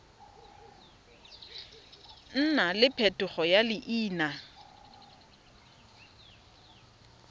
nna le phetogo ya leina